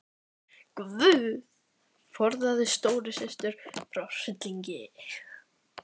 GUÐ forðaðu stóru systur frá hryllingi.